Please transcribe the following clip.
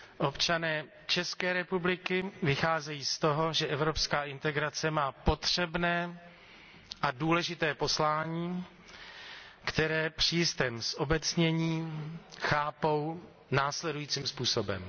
Občané České republiky vycházejí z toho, že evropská integrace má potřebné a důležité poslání, které při jistém zobecnění chápou následujícím způsobem.